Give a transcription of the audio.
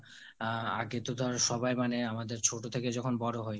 আ~ আগে তো ধর সবাই মানে আমদের ছোট থেকে যখন বড় হই